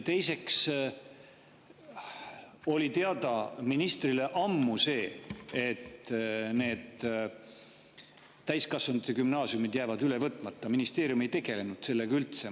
Teiseks, ministrile oli ammu teada see, et need täiskasvanute gümnaasiumid jäävad üle võtmata, ministeerium ei tegelenud sellega üldse.